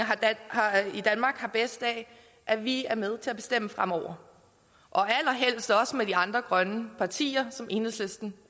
i danmark har bedst af at vi er med til at bestemme fremover allerhelst også sammen med de andre grønne partier som enhedslisten